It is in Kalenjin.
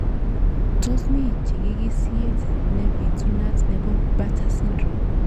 Tos mi chikikisiet nepitunat nebo Bartter syndrome?